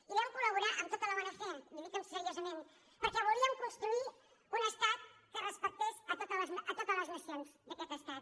hi vam col·laborar amb tota la bona fe li ho dic seriosament perquè volíem construir un estat que respectés a totes les nacions d’aquest estat